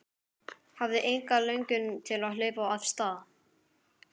Hafði enga löngun til að hlaupa af stað.